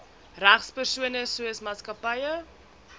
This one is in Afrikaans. regspersone soos maatskappye